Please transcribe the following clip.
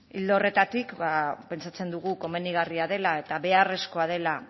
ildo horretatik ba pentsatzen dugu komenigarria dela eta beharrezkoa dela